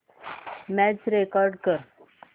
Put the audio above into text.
match record कर